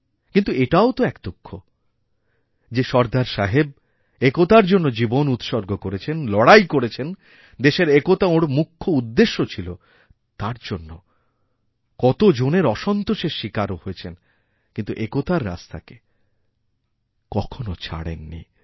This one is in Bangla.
কিন্তু এটাও তোএক দুঃখ যে সর্দার সাহেব একতার জন্য জীবন উৎসর্গ করেছেন লড়াই করেছেন দেশের একতাওঁর মুখ্য উদ্দেশ্য ছিল তার জন্য কতজনের অসন্তোষের শিকারও হয়েছেন কিন্তু একতাররাস্তাকে কখনও ছাড়েন নি